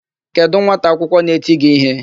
Kedụ nwata akwụkwọ na-eti gị íhé?